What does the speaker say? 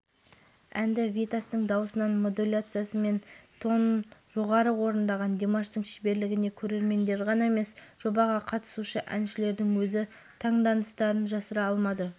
димаш екінші кезеңде төртінші болып өнер көрсетті бұған дейін хабарлағанымыздай жерлесіміз ресейлік әнші витасты барша әлемге танытқан опера өлеңін орындады